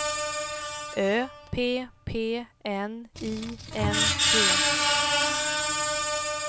Ö P P N I N G